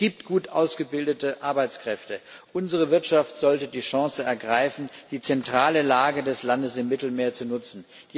Es gibt gut ausgebildete Arbeitskräfte. Unsere Wirtschaft sollte die Chance ergreifen, die zentrale Lage des Landes im Mittelmeer zu nutzen.